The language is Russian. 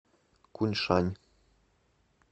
куньшань